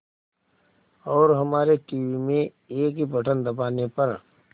और हमारे टीवी में एक ही बटन दबाने पर